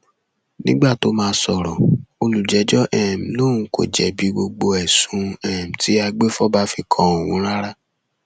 nígbà tóo máa sọrọ olùjẹjọ um lòun kò jẹbi gbogbo ẹsùn um tí agbèfọba fi kan òun rárá